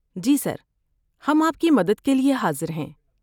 جی sir, ہم آپ کی مدد کے لیے حاضر ہیں۔